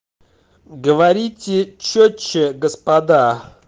говорите чётче господа